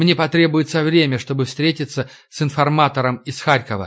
мне потребуется время чтобы встретиться с информатором из харькова